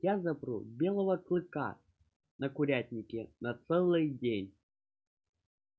я запру белого клыка на курятнике на целый день